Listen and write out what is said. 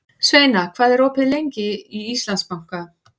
Sveina, hvað er opið lengi í Íslandsbanka?